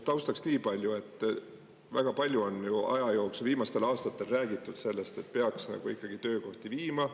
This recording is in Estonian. Taustaks niipalju, et väga palju on ju aja jooksul, viimastel aastatel räägitud sellest, et peaks ikkagi töökohti viima.